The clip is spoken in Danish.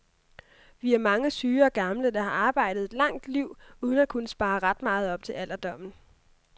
Vi er mange syge og gamle, der har arbejdet et langt liv uden at kunne spare ret meget op til alderdommen.